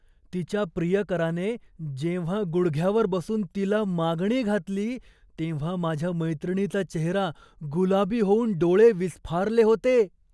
तिच्या प्रियकराने जेव्हा गुडघ्यावर बसून तिला मागणी घातली तेव्हा माझ्या मैत्रिणीचा चेहरा गुलाबी होऊन डोळे विस्फारले होते.